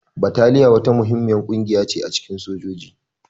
Bataliya wata muhimmiyar ƙungiya ce a cikin sojoji.